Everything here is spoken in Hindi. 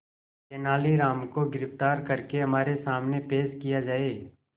तेनालीराम को गिरफ्तार करके हमारे सामने पेश किया जाए